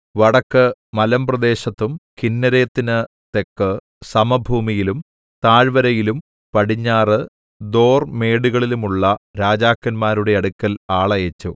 വടക്ക് മലമ്പ്രദേശത്തും കിന്നേരെത്തിന് തെക്ക് സമഭൂമിയിലും താഴ്‌വരയിലും പടിഞ്ഞാറ് ദോർമേടുകളിലുമുള്ള രാജാക്കന്മാരുടെ അടുക്കൽ ആളയച്ച്